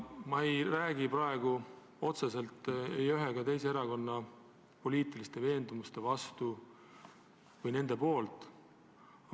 Ma ei räägi praegu otseselt ei ühe ega teise erakonna poliitiliste veendumuste vastu või nende poolt.